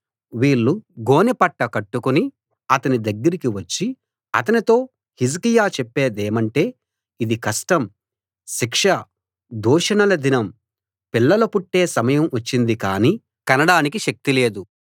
వీళ్ళు గోనెపట్ట కట్టుకుని అతని దగ్గరికి వచ్చి అతనితో హిజ్కియా చెప్పేదేమంటే ఇది కష్టం శిక్ష దూషణల దినం పిల్లలు పుట్టే సమయం వచ్చింది కాని కనడానికి శక్తి లేదు